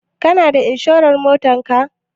Kana da inshurar Motar ka?